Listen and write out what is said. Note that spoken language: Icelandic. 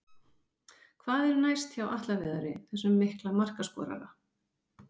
Hvað er næst hjá Atla Viðari, þessum mikla markaskorara?